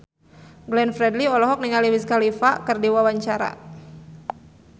Glenn Fredly olohok ningali Wiz Khalifa keur diwawancara